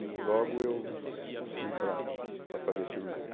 E logo eu fui para para fazer a cirurgia.